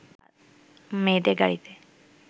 মেয়েদের গাড়ীতে